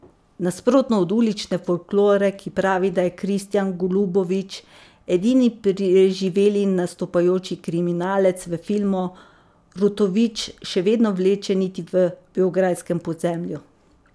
Nasprotno od ulične folklore, ki pravi, da je Kristijan Golubović edini preživeli nastopajoči kriminalec v filmu, Rutović še vedno vleče niti v beograjskem podzemlju.